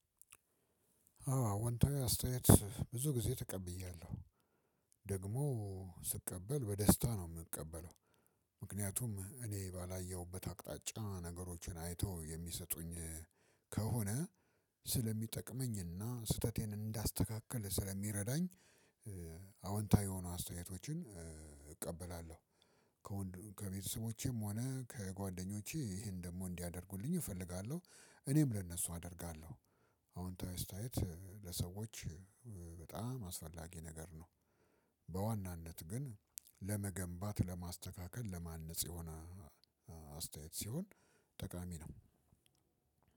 አዎ አወንታዊ አስተያየት ብዙ ጊዜ ተቀብያለሁ ደግሞ ስቀበል በደስታ ነው የምቀበለው። ምክንያቱም እኔ ባላየሁበት አቅጣጫ ነገሮችን አይተው የሚሰጡኝ ከሆነ ስለሚጠቅመኝና ስህተቴን እንዳስተካክል ስለሚረዳኝ። አዎንታዊ የሆኑ አስተያየቶችን እቀበላለሁ። ከወንድ ከቤተሰቦቼም ሆነ ከጓደኞቼ ይሄን ደግሞ እንዲያደርጉልኝ እፈልጋለሁ እኔም ለነሱ አደርጋለሁ። አዎንታዊ ስታየት ለሰዎች በጣም አስፈላጊ ነገር ነው። በዋናነት ግን ለመገንባት ለማስተካከል ለማነጽ የሆነ አስተያየት ሲሆን ጠቃሚ ነው።